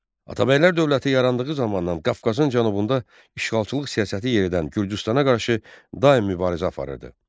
Atabəylər dövləti yarandığı zamandan Qafqazın cənubunda işğalçılıq siyasəti yeridən Gürcüstana qarşı daim mübarizə aparırdı.